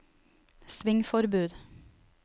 svingforbud